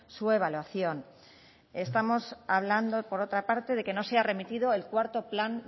su evaluación estamos hablando por otra parte de que no se ha remitido el cuarto plan